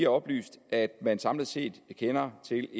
oplyst at man samlet set kender til